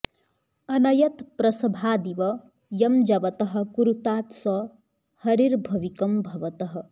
अनयत् प्रसभादिव यं जवतः कुरुतात् स हरिर्भविकं भवतः